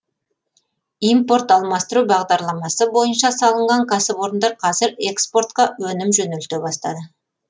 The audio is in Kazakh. импорт алмастыру бағдарламасы бойынша салынған кәсіпорындар қазір экспортқа өнім жөнелте бастады